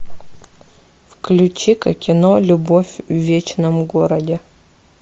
включи ка кино любовь в вечном городе